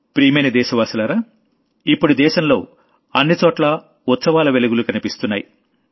ప్రియమైన దేశవాసులారా ఇప్పుడు దేశంలో అన్నిచోట్లా ఉత్సవాల వెలుగులు కనిపిస్తున్నాయి